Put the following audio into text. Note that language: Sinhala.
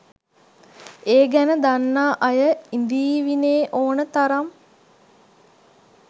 ඒ ගැන දන්නා අය ඉඳීවීනේ ඕන තරම්.